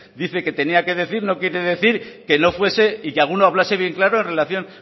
dice que tenía que decir no quiere decir que no fuese y que alguno hablase bien claro en relación